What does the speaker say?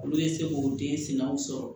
Olu bɛ se k'o den sinaw sɔrɔ